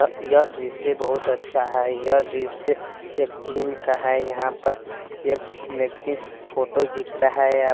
यह दृश्य बहुत अच्छा है यह दृश्य एक जीम का है यहां पर एक व्यक्ति फोटो खींच रहा है।